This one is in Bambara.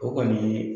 O kɔni